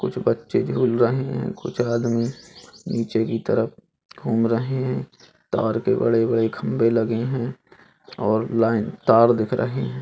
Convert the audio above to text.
कुछ बच्चे झूल रहे हैं कुछ आदमी नीचे घूम रहे हैं तार के बड़े-बड़े खंभे लगे हैं और लाइन तार दिख रहे हैं।